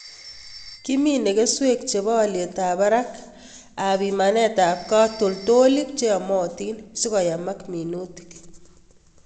Kimine keswek chebo olyetab barak ak pimanetab katoltolik cheyomotin sikoyamak munitik.